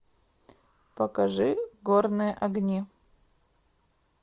покажи горные огни